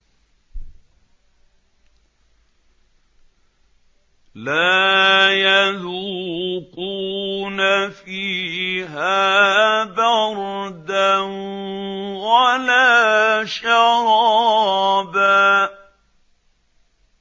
لَّا يَذُوقُونَ فِيهَا بَرْدًا وَلَا شَرَابًا